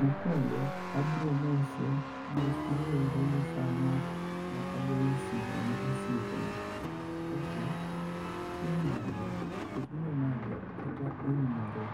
Mokuongo abiro mose mos maluwore gi saa magoye simu ni osiepna, kaka ichiew nade, iriyo nade kata oimore.